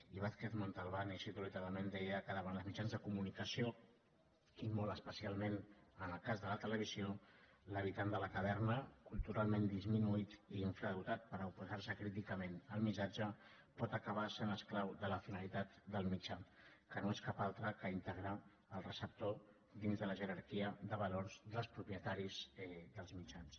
i vázquez montalbán i cito literalment deia que davant dels mitjans de comunicació i molt especialment en el cas de la televisió l’habitant de la caverna culturalment disminuït i infradotat per oposar se críticament al missatge pot acabar sent esclau de la finalitat del mitjà que no és cap altra que integrar el receptor dins de la jerarquia de valors dels propietaris dels mitjans